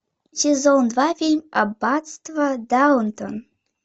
сезон два фильм аббатство даунтон